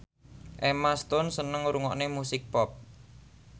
Emma Stone seneng ngrungokne musik pop